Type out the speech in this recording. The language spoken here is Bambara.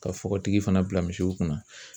Ka fɔgɔtigi fana bila misiw kunna.